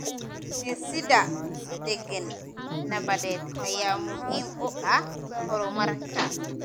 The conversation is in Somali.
Dhisidda deegaan nabadeed ayaa muhiim u ah horumarka.